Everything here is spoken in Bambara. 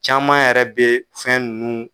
Caman yɛrɛ bɛ fɛn nunnu.